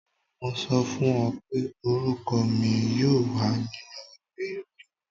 Mo sọ fún ọ pé orúkọ mi yóò wà nínú ìwé ìròyìn.